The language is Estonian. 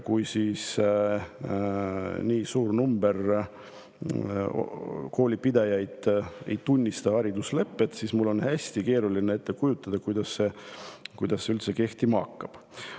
Kui nii suur hulk koolipidajaid ei tunnista hariduslepet, siis on mul hästi keeruline ette kujutada, kuidas see üldse kehtima hakkab.